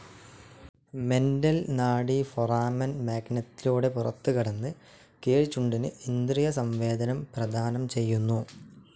Mental നാഡി foramen മാഗ്നത്തിലൂടെ പുറത്തുകടന്ന് കീഴ്ച്ചുണ്ടിന് ഇന്ദ്രിയ സംവേദനം പ്രദാനം ചെയ്യുന്നു.